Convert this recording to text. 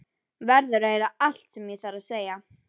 Verður að heyra allt sem ég þarf að segja.